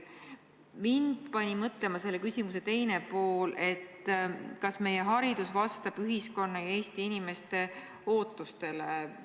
Mind pani mõtlema see, kas meie haridus vastab ühiskonna ja Eesti inimeste ootustele.